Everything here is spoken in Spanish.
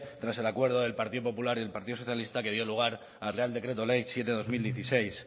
tras el acuerdo del partido popular y el partido socialista que dio lugar al real decreto ley siete barra dos mil dieciséis